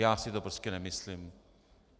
Já si to prostě nemyslím.